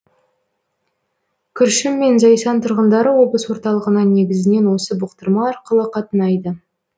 күршім мен зайсан тұрғындары облыс орталығына негізінен осы бұқтырма арқылы қатынайды